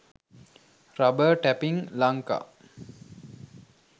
rubber tapping lanka